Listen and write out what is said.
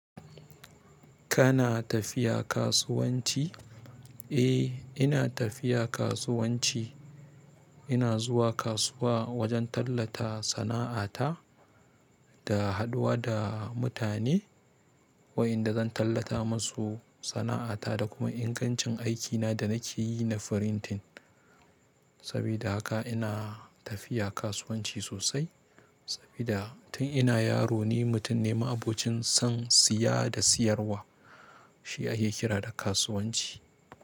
Kana tafiya kasuwanci? Eh, ina tafiya kasuwanci. Ina zuwa kasuwa wajen tallata sana'ata da haɗuwa da mutane, waƴanda zan tallata masu sana'ata da kuma ingancin aikina da nake yi na firintin. Saboda haka ina tafiya kasuwanci sosai. Saboda tun ina yaro ne mutum ne ma'abocin son siya da siyarwa. Shi ake kira da kasuwanci.